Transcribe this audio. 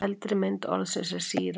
eldri mynd orðsins er síra